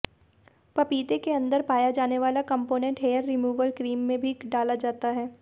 पपीते के अंदर पाया जाने वाला कम्पोनेंट हेयर रिमूवल क्रीम में भी डाला जाता है